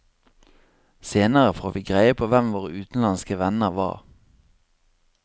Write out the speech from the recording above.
Senere får vi greie på hvem våre utenlandske venner var.